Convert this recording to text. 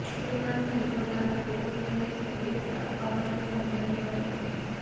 સલમાન ખાન પોતાના ક્લોઝ ફ્રેંડ્સને ગિફ્ટ આપવા માટે પણ જાણીતા છે